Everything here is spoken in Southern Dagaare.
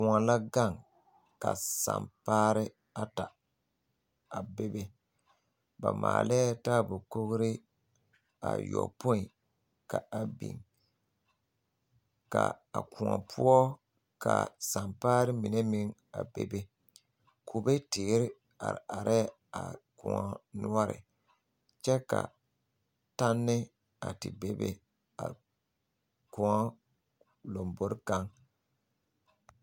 Koɔ la gaŋ ka sampaare ata a bebe ba maalɛɛ taaɛbo kogree ayɔpoi ka a beŋ ka a koɔ poɔ ka sampaare mine meŋ a kpɛ be kube teere are arɛɛ a koɔ noɔre kyɛ ka tanne a te bebe a koɔŋ lombore kaŋ.